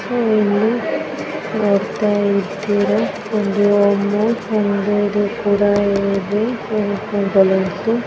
ನೀವು ಇಲ್ಲಿ ನೋಡತಾ ಇದಿರ ಒಂದು ಅಮುಲ್ ಒಂದು ಕೂಡ ಇದೆ ಬಲ್ಲೋನ್ಸ್ದು